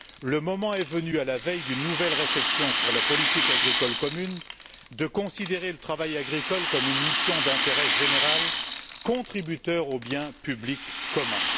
Le moment est venu, à la veille d'une nouvelle réflexion sur la politique agricole commune, de considérer le travail agricole comme une mission d'intérêt général, contribuant au bien public commun.